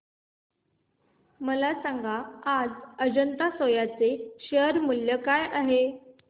मला सांगा आज अजंता सोया चे शेअर मूल्य काय आहे